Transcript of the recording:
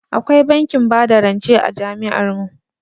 Akwai bankin bada rance a jami'ar mu.